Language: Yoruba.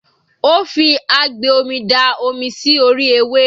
Ó fi agbè omi da omi sí orí ewé.